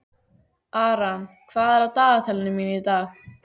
Aran, hvað er á dagatalinu mínu í dag?